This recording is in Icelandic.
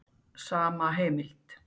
Sama heimild.